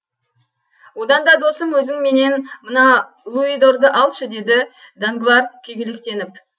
одан да досым өзің менен мына луидорды алшы деді данглар күйгелектеніп